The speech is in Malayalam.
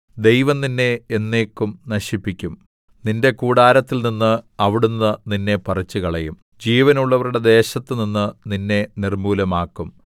ദൈവം നിന്നെ എന്നേക്കും നശിപ്പിക്കും നിന്റെ കൂടാരത്തിൽനിന്ന് അവിടുന്ന് നിന്നെ പറിച്ചുകളയും ജീവനുള്ളവരുടെ ദേശത്തുനിന്ന് നിന്നെ നിർമ്മൂലമാക്കും സേലാ